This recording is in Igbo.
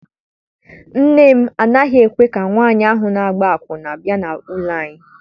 Nne m anaghị ekwe ka nwaanyị ahụ na-agba akwụna bịa n'ụlọ anyi.